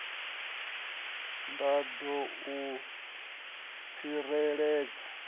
nda ṱoḓa u i tsireledza